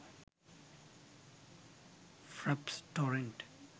fraps torrent